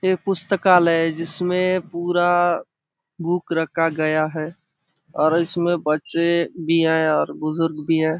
ये पुस्तकालय है इसमें पूरा बुक रखा गया है और इसमें बच्चे भी है और बुजुर्ग भी है।